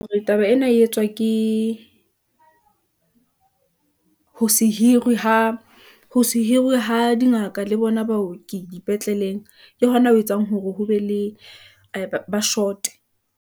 Hore taba ena e etswa ke ho se hiruwe ha dingaka le bona baoki dipetleleng , ke hona ho etsang hore ho be le aai ba short-e.